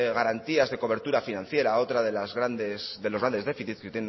garantías de cobertura financiera otro de los grandes déficit que